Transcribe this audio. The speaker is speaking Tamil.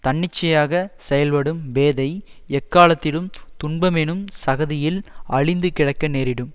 தன்னிச்சையாகச் செயல்படும் பேதை எக்காலத்திலும் துன்பமெனும் சகதியில் அழுந்திக் கிடக்க நேரிடும்